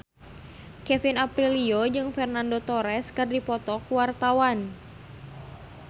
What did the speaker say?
Kevin Aprilio jeung Fernando Torres keur dipoto ku wartawan